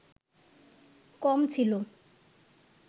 কম ছিল